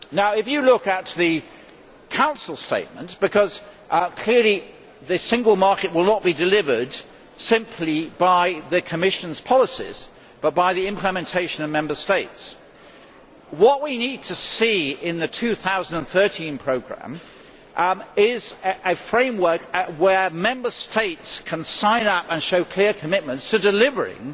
If you look at the Council statement because clearly the single market will not be delivered simply by the Commission's policies but by implementation in the Member States what we need to see in the 2013 programme is a framework where Member States can sign up and show clear commitments to delivering